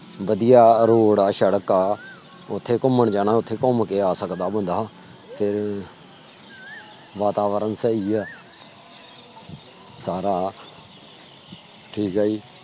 ਵਧੀਆ rode ਆ ਸੜਕ ਆ। ਉਥੇ ਘੁੰਮਣ ਜਾਣਾ ਉਥੇ ਘੁੰਮ ਕੇ ਆ ਸਕਦਾ ਬੰਦਾ ਤੇ ਵਾਤਾਵਰਨ ਸਹੀ ਆ। ਸਾਰਾ ਠੀਕ ਆ ਜੀ